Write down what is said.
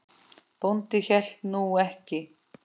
Bóndi hélt nú ekki.